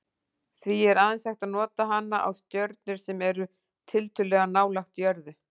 Því er aðeins hægt að nota hana á stjörnur sem eru tiltölulega nálægt jörðu.